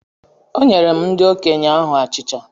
Onyerem ndi okenye ahu achicha.